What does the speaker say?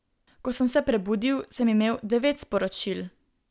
Ko sem se prebudil, sem imel devet sporočil.